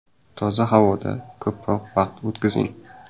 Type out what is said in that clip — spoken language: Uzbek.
Toza havoda ko‘proq vaqt o‘tkazing.